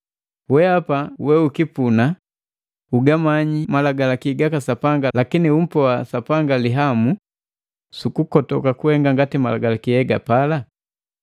Weapa weukipuna ugamanyi Malagalaki gaka Sapanga lakini umpoa Sapanga lihamu sukukotoka kuhenga ngati malagalaki hegapala?